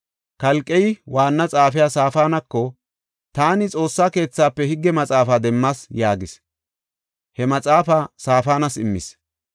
Kalqey waanna xaafiya Saafanako, “Taani Xoossa keethafe higge maxaafaa demmas” yaagis. He maxaafaa Saafanas immis.